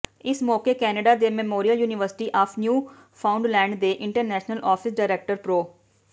ਇਸ ਮੌਕੇ ਕੈਨੇਡਾ ਦੀ Memorial University of Newfoundland ਦੇ ਇੰਟਰਨੈਸ਼ਨਲ ਆਫਿਸ ਡਾਇਰੈਕਟਰ ਪ੍ਰਰੋ